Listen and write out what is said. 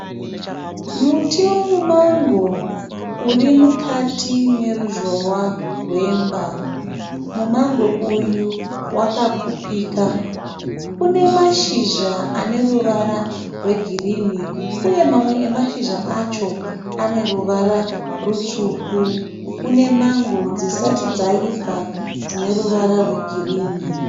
Muti wemumango urimukati meruzhowa rwemba. Mumango uyu wakapfupika. Unemashizha aneruvara rwegirinhi, Une mamwe emashizha acho aneruvara rutsvuku. Une mango dzisati dzaibva.